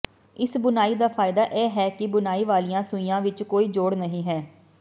ਇਸ ਬੁਣਾਈ ਦਾ ਫਾਇਦਾ ਇਹ ਹੈ ਕਿ ਬੁਣਾਈ ਵਾਲੀਆਂ ਸੂਈਆਂ ਵਿੱਚ ਕੋਈ ਜੋੜ ਨਹੀਂ ਹੈ